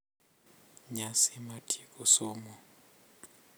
Nyasi mar tieko somo.